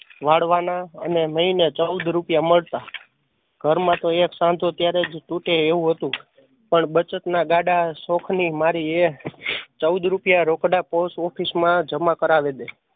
વાડવાના અને મહિને ચૌદ રૂપિયા મળતાં. ઘરમાં તો એક સાંધો ત્યારે જ તૂટે એવું હતું પણ બચત ના ગાડાં શોખ ની મારીયે એ ચૌદ રૂપિયા રોકડા પોસ્ટઓફિશમાં જમા કરાવી દે